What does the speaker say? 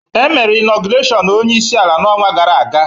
E mere ịnogresiọn ọnyeisi ala na ọnwa gara-aga.